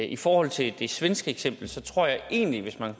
i forhold til det svenske eksempel tror jeg egentlig at hvis man